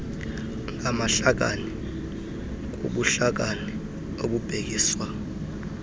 ngamahlakani kubuhlakani okubhekiswa